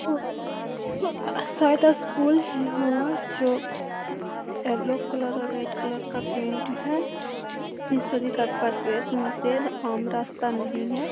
शायद स्कूल है yellow colour red colour का पेंट है आम रास्ता नहीं है।